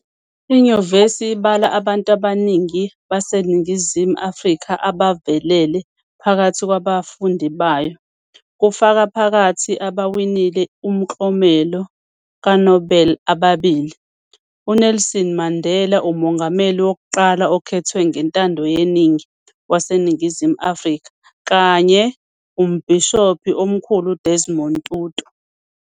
Inyuvesi ibala abantu abaningi baseNingizimu Afrika abavelele phakathi kwAbafundi bayo, kufaka phakathi abawinile Umklomelo kaNobel ababili- UNelson Mandela, umongameli wokuqala okhethwe ngentando yeningi waseNingizimu Afrika kanye Umbhishobhi Omkhulu UDesmond Tutu.